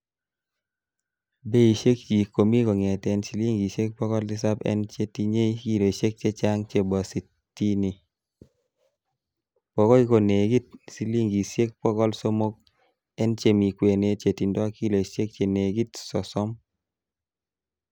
Beishekchik komi kongeten silingisiek bogol tisap en chetinye kiloisiek chechang chebo sitini, bokoi konekit silingisiek bogol somok en chemi kwenet chetindo kiloisiek chenekit sosom.